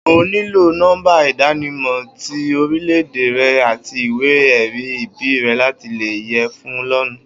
O óò níló nó̩mbá ìdánimò̩ ti orílè̩-èdè re̩ àti ìwé-è̩rí ìbí re̩ láti lè ye̩ fún lóònù